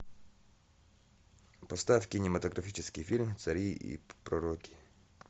поставь кинематографический фильм цари и пророки